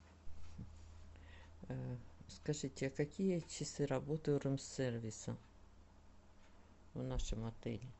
скажите а какие часы работы рум сервиса в нашем отеле